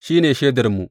shi ne shaidarmu.